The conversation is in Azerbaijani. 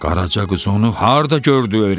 "Qaraca qız onu harda gördü öyrətsin?